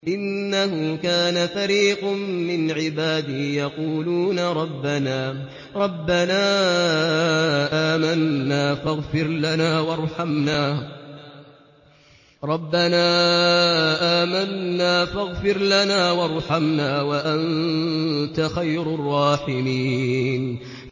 إِنَّهُ كَانَ فَرِيقٌ مِّنْ عِبَادِي يَقُولُونَ رَبَّنَا آمَنَّا فَاغْفِرْ لَنَا وَارْحَمْنَا وَأَنتَ خَيْرُ الرَّاحِمِينَ